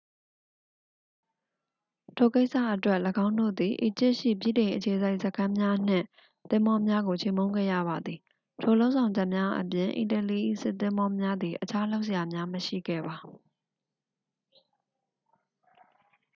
ထိုကိစ္စအတွက် ၎င်းတို့သည် အီဂျစ်ရှိ ဗြိတိန်အခြေစိုက်စခန်းများနှင့် သင်္ဘောများကို ချေမှုန်းခဲ့ရပါသည် ထိုလုပ်ဆောင်ချက်များအပြင် အီတလီ၏စစ်သင်္ဘောများသည် အခြားလုပ်စရာများ မရှိခဲ့ပါ